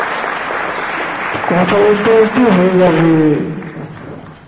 কথা বলতে বলতেই হয়ে যাবে